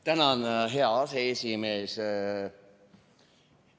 Tänan, hea aseesimees!